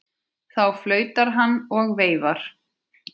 Þá flautar hann og veifar.